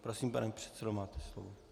Prosím, pane předsedo, máte slovo.